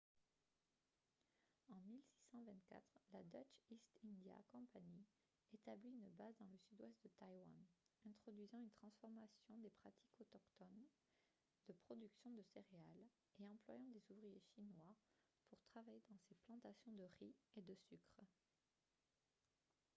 en 1624 la dutch east india company établit une base dans le sud-ouest de taïwan introduisant une transformation des pratiques autochtones de production de céréales et employant des ouvriers chinois pour travailler dans ses plantations de riz et de sucre